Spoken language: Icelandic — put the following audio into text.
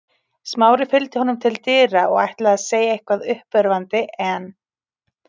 Smári fylgdi honum til dyra og ætlaði að segja eitthvað uppörvandi en